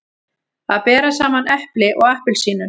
Að bera saman epli og appelsínur